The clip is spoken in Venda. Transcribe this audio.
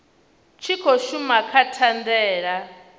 tshi khou shuma kha thandela